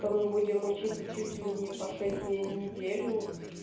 то мы будем учиться чуть ли не по шесть дней в неделю